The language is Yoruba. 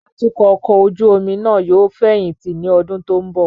Atukọ ọkọ ojú omi nàa yóò feyinti ni ọdun to nbo